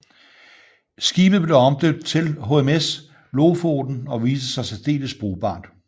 Skibet blev omdøbt til HMS Lofoten og viste sig særdeles brugbart